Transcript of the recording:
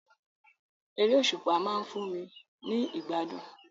Eré òsùpá ma n fun mi ni ìgbádùn